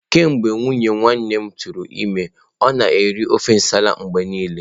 Kemgbe nwunye nwanne m tụrụ ime, ọ na-eri ofe nsala mgbe niile.